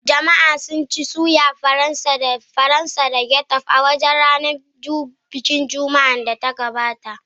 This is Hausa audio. Jama'a sun ci soya Faransa da ketchup a wurin bikin ranar Juma'ar da ta gabata.